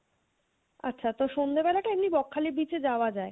আচ্ছা তো সন্ধ্যে বেলাটা এমনি বকখালি beach এ যাওয়া যায়?